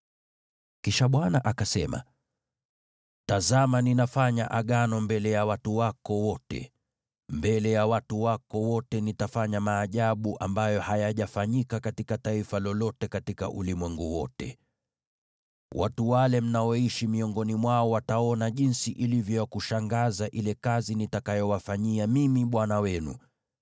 Kisha Bwana akasema: “Tazama ninafanya Agano mbele ya watu wako wote. Mbele ya watu wako wote nitafanya maajabu ambayo hayajafanyika katika taifa lolote katika ulimwengu wote. Watu wale mnaoishi miongoni mwao wataona jinsi ilivyo ya kushangaza ile kazi nitakayowafanyia mimi Bwana wenu.